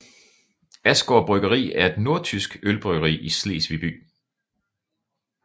Asgaard Bryggeri er et nordtysk ølbryggeri i Slesvig by